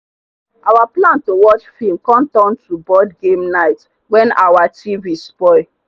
our plan to watch film come turn to board game night when our tv spoil.